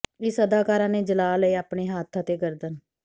ਇਸ ਅਦਾਕਾਰਾ ਨੇ ਜਲਾ ਲਏ ਆਪਣੇ ਹੱਥ ਅਤੇ ਗਰਦਨ